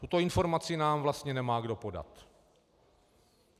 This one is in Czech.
Tuto informaci nám vlastně nemá kdo podat.